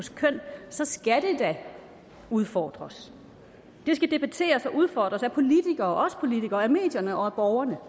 køn så skal det da udfordres det skal debatteres og udfordres af os politikere af medierne og af borgerne